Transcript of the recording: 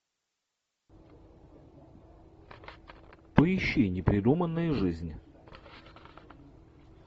поищи непридуманная жизнь